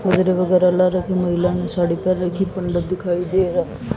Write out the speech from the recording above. वगैरा वगैरा लाल रंग की महिला ने साड़ी पहेन रखी पंडित दिखाई दे र--